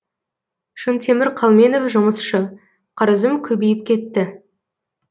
шынтемір қалменов жұмысшы қарызым көбейіп кетті